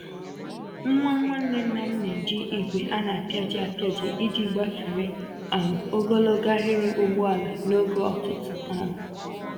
Nwa Nwanne ńnàm na-eji igwe a na-apịaji apịaji iji gbafere um ogologo ahiri ụgbọala n'oge ụtụtụ um